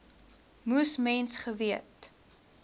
moes mens geweet